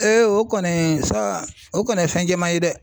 o kɔni sa o kɔni ye fɛn cɛman ye dɛ.